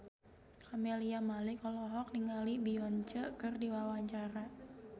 Camelia Malik olohok ningali Beyonce keur diwawancara